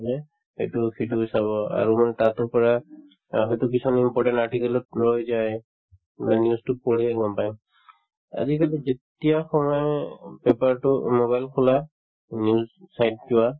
হয়নে, এইটো সেইটোও চাব আৰু মানে তাতো পৰা অ সেইটো কিছুমানে important article ত যায় মানে news তো পঢ়িয়ে গম পাই আজিকালি যেতিয়া paper তো অ mobile খোলা news site যোৱা